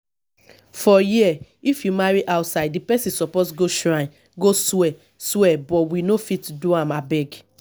for here if you marry outside the person suppose go shrine go swear swear but we no fit do am abeg